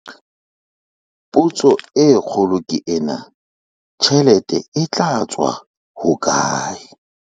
Potso e kgolo ke ena - tjhelete e tla tswa hokae?